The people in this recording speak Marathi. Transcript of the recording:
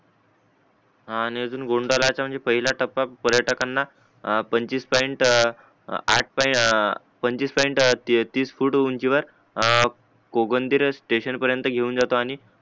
हा आणि अजून गोंडलाच म्हणजे पहिला टपा पर्यटकांना पंचवीस पॉईंट आठ पंचवीस पॉईंट तीस उंचीवर कोगन्दिरच स्टेशन परेंत घेऊन जातो आणि